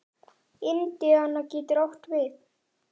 Indiana getur átt við